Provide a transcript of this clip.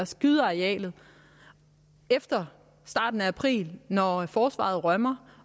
skydearealet efter starten af april når forsvaret rømmer